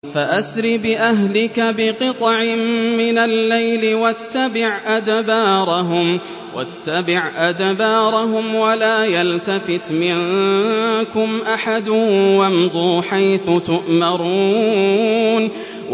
فَأَسْرِ بِأَهْلِكَ بِقِطْعٍ مِّنَ اللَّيْلِ وَاتَّبِعْ أَدْبَارَهُمْ وَلَا يَلْتَفِتْ مِنكُمْ أَحَدٌ وَامْضُوا حَيْثُ تُؤْمَرُونَ